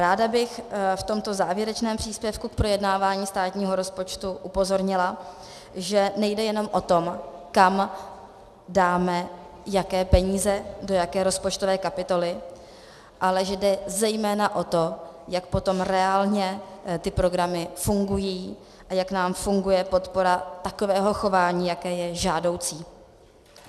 Ráda bych v tomto závěrečném příspěvku k projednávání státního rozpočtu upozornila, že nejde jenom o to, kam dáme jaké peníze, do jaké rozpočtové kapitoly, ale že jde zejména o to, jak potom reálně ty programy fungují a jak nám funguje podpora takového chování, jaké je žádoucí.